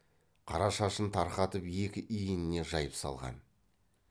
қара шашын тарқатып екі иініне жайып салған